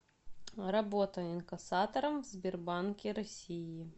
работа инкассатором в сбербанке россии